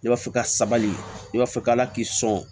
Ne b'a fɛ ka sabali ne b'a fɔ k'ala k'i sɔn